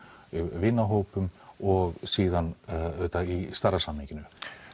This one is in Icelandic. vinahópum og síðan auðvitað í stærra samhenginu